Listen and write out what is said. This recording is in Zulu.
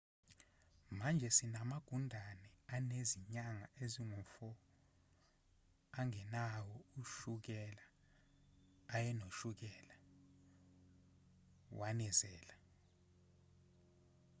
manje sinamagundane anezinyanga ezingu-4 angenawo ushukela ayenoshukela wanezela